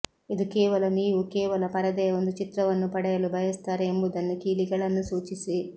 ಇದು ಕೇವಲ ನೀವು ಕೇವಲ ಪರದೆಯ ಒಂದು ಚಿತ್ರವನ್ನು ಪಡೆಯಲು ಬಯಸುತ್ತಾರೆ ಎಂಬುದನ್ನು ಕೀಲಿಗಳನ್ನು ಸೂಚಿಸಿ